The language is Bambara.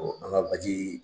Ɔ an ga baji